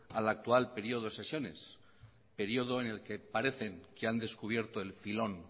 al actual periodo de sesiones periodo en el que parecen que han descubierto el filón